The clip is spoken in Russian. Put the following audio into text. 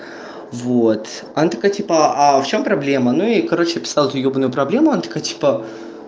вот она такая типа а в чём проблема ну я ей короче описал эту ёбаную проблему она такая типа